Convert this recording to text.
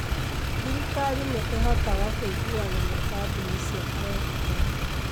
Thirikari nĩ ĩhotaga kũiguana na kambuni cia telecom.